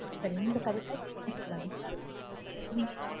இந்த ரெண்டு கடைக்கு தான் பிரிச்சு சொல்லனும்